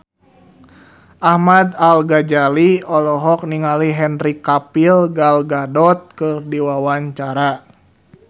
Ahmad Al-Ghazali olohok ningali Henry Cavill Gal Gadot keur diwawancara